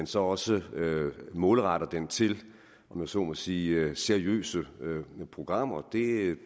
så også målretter den til om jeg så må sige seriøse programmer det